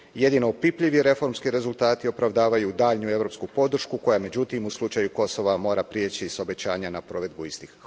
Jedino opipljivi reformski rezultati opravdavaju daljnju europsku podršku koja, međutim, u slučaju Kosova mora prijeći s obećanja na provedbu istih.